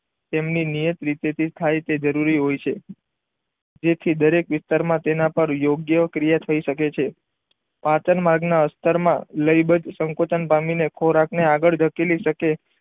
તેમની નીયાત રીતે થી થાય તે જરૂરી છે જેથી દરેક વિસ્તાર માં તેના પર યોગ્ય ક્રિયા થઈ શકે છે પાચન માર્ગ ના અસ્થર માં લઇબત સંકોચન પામીને ખોરાક ને આગળ ધકેલી શકે.